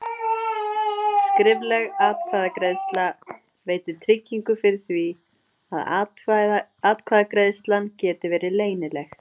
Skrifleg atkvæðagreiðsla veitir tryggingu fyrir því að atkvæðagreiðslan geti verið leynileg.